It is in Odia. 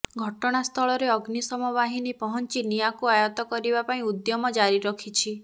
ଘଟଣାସ୍ଥଳରେ ଅଗ୍ନିଶମ ବାହିନୀ ପହଞ୍ଚି ନିଆଁକୁ ଆୟତ୍ତ କରିବା ପାଇଁ ଉଦ୍ୟମ ଜାରି ରଖିଛି